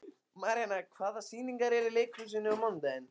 Maríana, hvaða sýningar eru í leikhúsinu á mánudaginn?